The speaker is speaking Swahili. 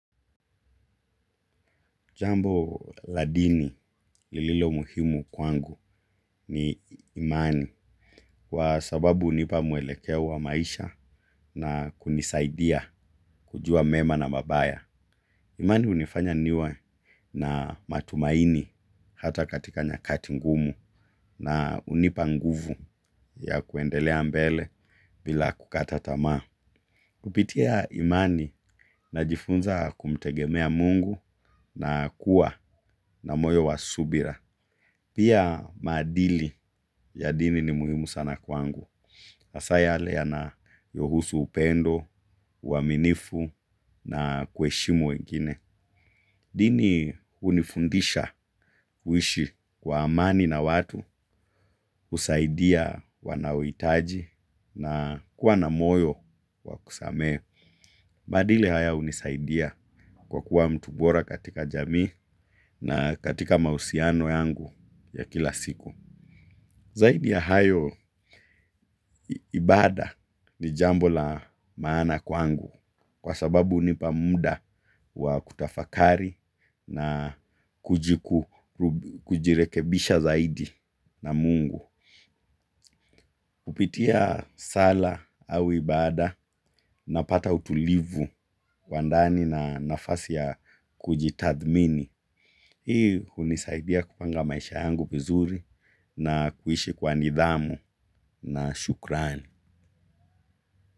Jambo la dini lililo muhimu kwangu ni imani. Kwa sababu hunipa mwelekeo wa maisha na kunisaidia kujua mema na mabaya. Imani hunifanya niwe na matumaini hata katika nyakati ngumu. Na hunipa nguvu ya kuendelea mbele bila kukata tamaa. Kupitia imani najifunza kumtegemea mungu na kuwa na moyo wa subira. Pia maadili ya dini ni muhimu sana kwangu. Hasa yale yanayohusu upendo uaminifu na kuheshimu wengine. Dini hunifundisha uishi kwa amani na watu, husaidia wanaohitaji na kuwa na moyo wa kusamehe. Maadili haya hunisaidia kwa kuwa mtu bora katika jamii na katika mahusiano yangu ya kila siku. Zaidi ya hayo ibada ni jambo la maana kwangu kwa sababu hunipa muda wa kutafakari na kujirekebisha zaidi na mungu. Kupitia sala au ibada napata utulivu kwa ndani na nafasi ya kujitathmini. Hii hunisaidia kupanga maisha yangu vizuri na kuishi kwa nidhamu na shukrani.